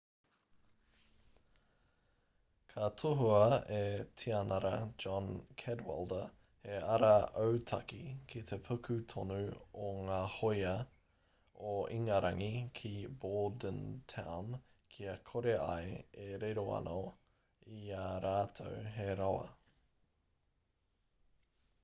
ka tohua e tianara john cadwalder he ara autaki ki te puku tonu o ngā hoia o ingarangi ki bordentown kia kore ai e riro anō i ā rātou he rawa